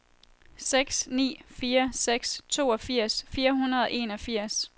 seks ni fire seks toogfirs fire hundrede og enogfirs